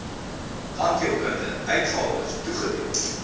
tandheelkundige uitgawes toegedeel